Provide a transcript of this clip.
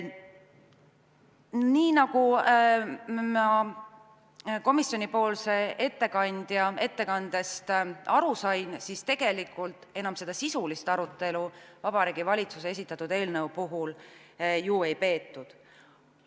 Nii nagu ma komisjoni ettekandja ettekandest aru sain, tegelikult sisulist arutelu Vabariigi Valitsuse esitatud eelnõu puhul ju ei peetud.